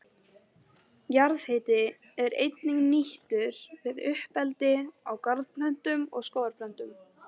Jarðhiti er einnig nýttur við uppeldi á garðplöntum og skógarplöntum.